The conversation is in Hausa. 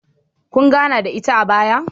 Kun gana da ita a baya?